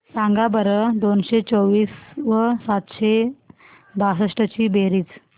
सांगा बरं दोनशे चोवीस व सातशे बासष्ट ची बेरीज